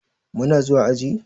Muna zuwa aji?